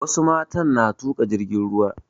Wasu matan na tuƙa jirgin ruwa